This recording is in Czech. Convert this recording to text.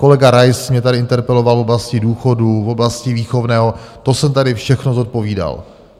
Kolega Rais mě tady interpeloval v oblasti důchodů, v oblasti výchovného, to jsem tady všechno zodpovídal.